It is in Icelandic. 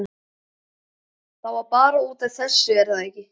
Það var bara út af þessu, er það ekki?